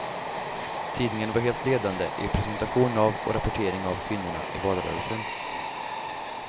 Tidningen var helt ledande i presentation av och rapportering av kvinnorna i valrörelsen.